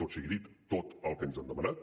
tot sigui dit tot el que ens han demanat